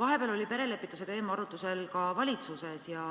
Vahepeal oli perelepituse teema arutusel ka valitsuses ja